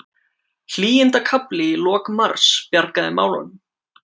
Hlýindakafli í lok mars bjargaði málunum